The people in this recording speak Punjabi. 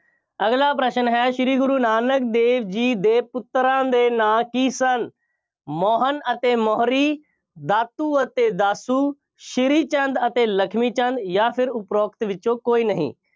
ਅਗਲਾ ਪ੍ਰਸ਼ਨ ਹੈ, ਸ਼੍ਰੀ ਗੁਰੂ ਨਾਨਕ ਦੇਵ ਜੀ ਦੇ ਪੁੱਤਰਾਂ ਦੇ ਨਾਂ ਕੀ ਸਨ? ਮੋਹਨ ਅਤੇ ਮੋਹਰੀ, ਦਾਤੂ ਅਤੇ ਦਾਸੂ, ਸ਼੍ਰੀ ਚੰਦ ਅਤੇ ਲਖਮੀ ਚੰਦ ਜਾਂ ਫੇਰ ਉਪਰੋਕਤ ਵਿੱਚੋਂ ਕੋਈ ਨਹੀਂ।